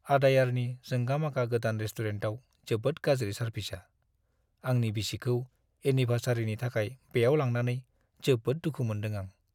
आडायारनि जोंगा-मागा गोदान रेस्टुरेन्टाव जोबोद गाज्रि सारभिसआ, आंनि बिसिखौ एनिभार्सारिनि थाखाय बेयाव लांनानै जोबोद दुखु मोनदों आं।